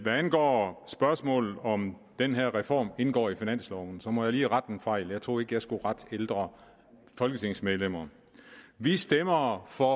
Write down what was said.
angår spørgsmålet om den her reform indgår i finansloven så må jeg lige rette en fejl jeg troede ikke jeg skulle rette på ældre folketingsmedlemmer vi stemmer for